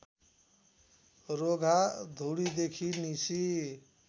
रोगा धुरीदेखि निसी